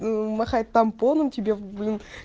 мм махать томпоном тебе блин